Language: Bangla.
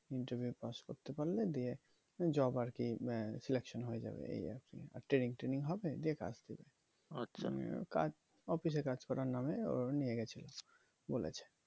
interview এ পাস করতে পারলে দিয়ে job আর কি selection হয়ে যাবে এই আর কি training টেনিং হবে দিয়ে কাজ দেবে কাজ office এ কাজ করার নামে ওরা নিয়ে গেছিলো